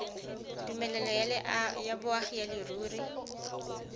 tumelelo ya boagi ya leruri